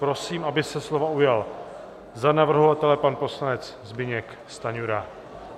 Prosím, aby se slova ujal za navrhovatele pan poslanec Zbyněk Stanjura.